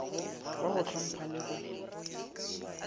wa go ntlhompha le go